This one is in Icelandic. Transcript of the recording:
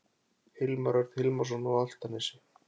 Hilmar Örn Hilmarsson á Álftanesi